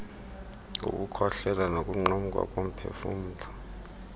ngokukhohlela nokunqamka komphefumlo